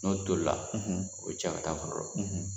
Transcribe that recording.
N'o tolila, o bɛ cɛ ka taa foro la